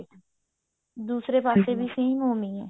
ਦੂਸਰੇ ਪਾਸੇ ਵੀ same ਓਵੀੰ ਹੈ